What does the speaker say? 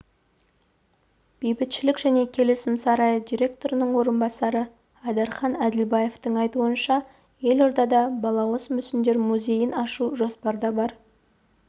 бейбітшілік және келісім сарайы директорының орынбасары айдархан әділбаевтың айтуынша елордада балауыз мүсіндер музейін ашу жоспарда бар